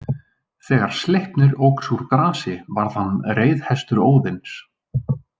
Þegar Sleipnir óx úr grasi varð hann reiðhestur Óðins.